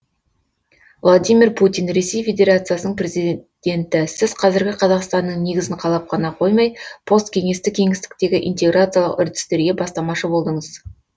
владимир путин ресей федерациясының президенті сіз қазіргі қазақстанның негізін қалап қана қоймай посткеңестік кеңістіктегі интеграциялық үрдістерге бастамашы болдыңыз